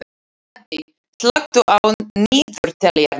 Addi, slökktu á niðurteljaranum.